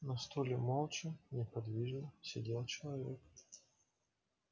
на стуле молча неподвижно сидел человек